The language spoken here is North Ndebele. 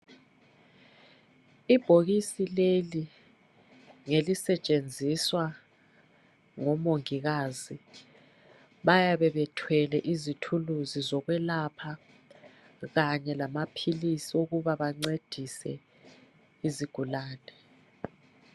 Ibhokisi leli ngelisetshenziswa ngomongikazi bayabe bethwele izikhali zokwelapha kanye lamaphilisi okuncedisa izigulane